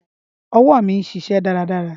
Ọwọ mi n ṣiṣẹ daradara.